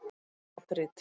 Madríd